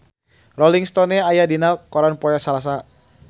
Rolling Stone aya dina koran poe Salasa